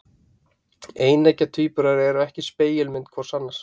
Eineggja tvíburar eru ekki spegilmyndir hvor annars.